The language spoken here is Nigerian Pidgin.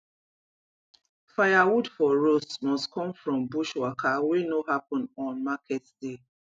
firewood for roast must come from bush waka wey no happen on market day